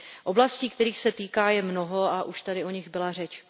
Oblastí, kterých se týká, je mnoho a už tady o nich byla řeč.